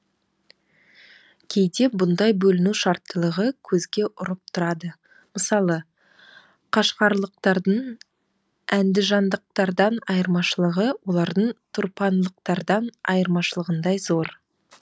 кейде бұндай бөліну шарттылығы көзге ұрып тұрады мысалы қашғарлықтардың әндіжандықтардан айырмашылығы олардың тұрпанлықтардан айырмашылығындай зор